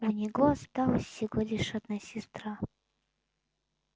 у него осталась всего лишь одна сестра